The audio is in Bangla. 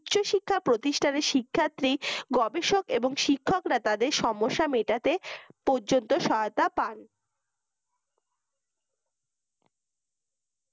উচ্চ শিক্ষা প্রতিষ্ঠানের শিক্ষার্থী গবেষক এবং শিক্ষকরা তাদের সমস্যা মেটাতে পর্যন্ত সহায়তা পান